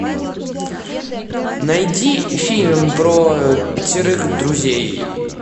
найди фильм про пятерых друзей